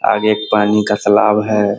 आगे एक पानी का तालाब है।